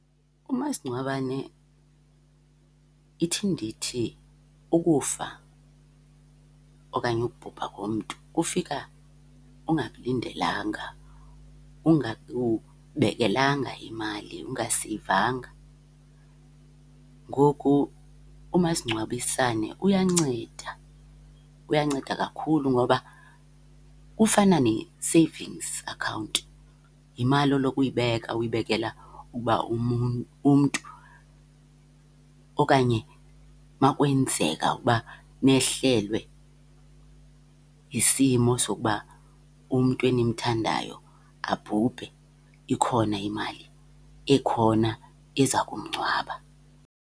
Umasingcwabane, ithi ndithi ukufa okanye ukubhubha komntu kufika ungakulindelanga, ungakubekelanga imali, ungaseyivanga. Ngoku umasingcwabisane uyanceda, uyanceda kakhulu ngoba kufana ne-savings account. Yimali oloko uyibeka uyibekele uba umntu okanye uma kwenzeka ukuba nehlelwe yisimo sokuba umntu enimthandayo abhubhe ikhona imali ekhona eza kumngcwaba.